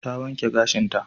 Ta wanke gashinta.